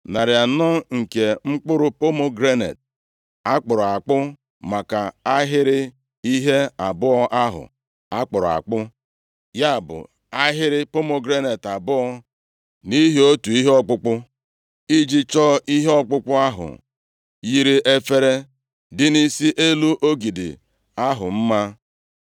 narị anọ nke mkpụrụ pomegranet a kpụrụ akpụ maka ahịrị ihe abụọ ahụ a kpụrụ akpụ, ya bụ, ahịrị pomegranet abụọ nʼihi otu ihe ọkpụkpụ, iji chọọ ihe ọkpụkpụ ahụ yiri efere dị nʼisi elu ogidi ahụ mma;